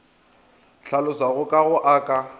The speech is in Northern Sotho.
hlalošwago ka go a ka